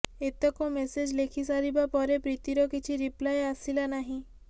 ଏତକ ମେସେଜ୍ ଲେଖି ସାରିବା ପରେ ପ୍ରୀତିର କିଛି ରିପ୍ଲାଏ ଆସିଲା ନାହିଁ